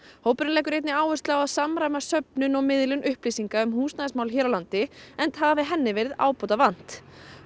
hópurinn leggur einnig áherslu á að samræma söfnun og miðlun upplýsinga um húsnæðismál hér á landi enda hafi henni verið ábótavant